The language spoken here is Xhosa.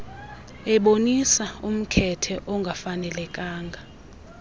ebonisa umkhethe ongafanelekanga